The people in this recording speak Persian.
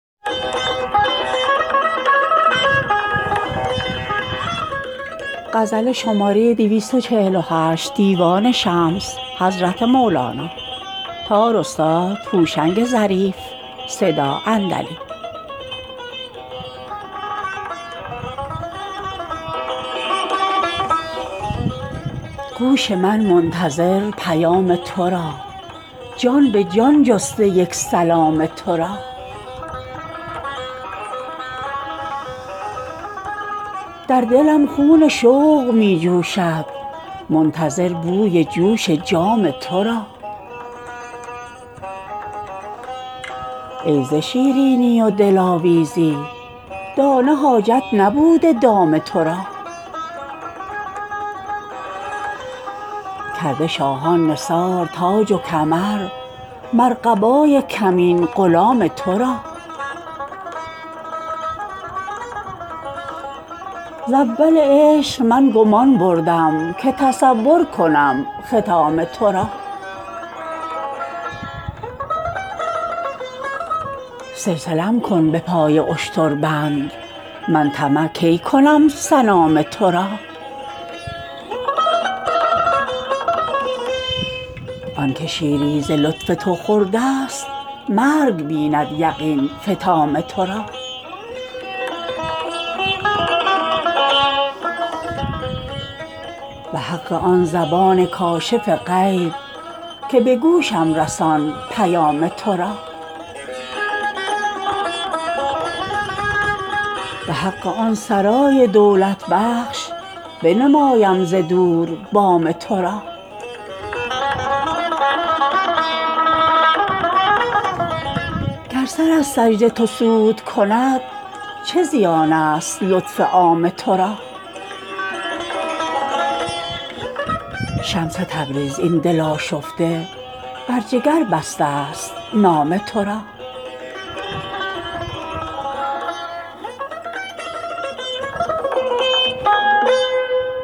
گوش من منتظر پیام تو را جان به جان جسته یک سلام تو را در دلم خون شوق می جوشد منتظر بوی جوش جام تو را ای ز شیرینی و دلاویزی دانه حاجت نبوده دام تو را کرده شاهان نثار تاج و کمر مر قبای کمین غلام تو را ز اول عشق من گمان بردم که تصور کنم ختام تو را سلسله ام کن به پای اشتر بند من طمع کی کنم سنام تو را آنک شیری ز لطف تو خورده ست مرگ بیند یقین فطام تو را به حق آن زبان کاشف غیب که به گوشم رسان پیام تو را به حق آن سرای دولت بخش بنمایم ز دور بام تو را گر سر از سجده تو سود کند چه زیانست لطف عام تو را شمس تبریز این دل آشفته بر جگر بسته است نام تو را